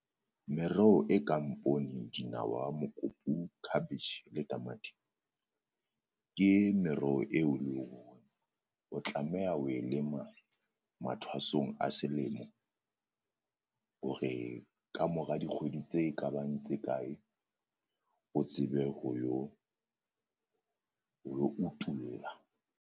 Mereho e kang poone dinawa mokopu cabbage le tamati, ke meroho eo e leng hore o tlameha ho e lema mathwasong a selemo. Hore kamora dikgwedi tse ka bang tse kae o tsebe ho yo ho yo utulla.